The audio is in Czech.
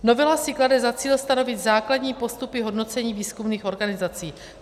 Novela si klade za cíl stanovit základní postupy hodnocení výzkumných organizací.